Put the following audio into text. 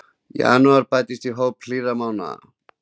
Janúar bættist í hóp hlýrra mánaða